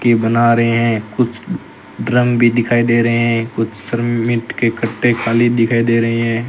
के बना रहे हैं कुछ ड्रम भी दिखाई दे रहे हैं कुछ श्रमित के कट्टे खाली दिखाई दे रहे हैं।